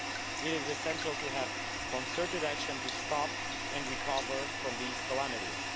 It is essential to have concerted action to stop and recover from these calamities.